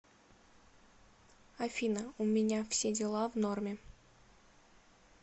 афина у меня все дела в норме